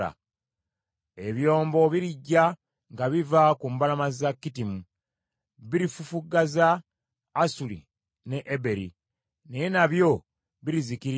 Ebyombo birijja nga biva ku mbalama za Kittimu; birifufuggaza Asuli ne Eberi , naye nabyo birizikirira.”